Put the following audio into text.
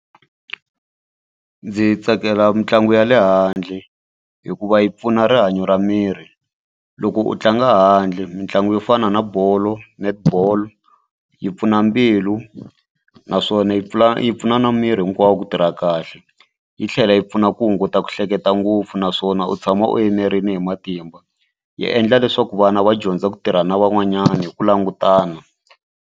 Ndzi tsakela mitlangu ya le handle hikuva yi pfuna rihanyo ra miri loko u tlanga handle mitlangu yo fana na bolo netball yi pfuna mbilu naswona yi pfula yi pfuna na miri hinkwawo ku tirha kahle yi tlhela yi pfuna ku hunguta ku hleketa ngopfu naswona u tshama u enerile hi matimba yi endla leswaku vana va dyondza ku tirha na van'wanyana hi ku langutana.